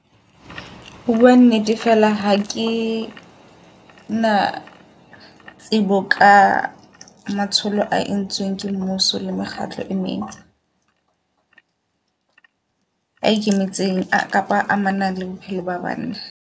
Ho bua nnete fela hakena tsebo ka matsholo a entsweng ke mmuso le mekgatlo e meng a ikemetseng kapa amanang le bophelo ba banna.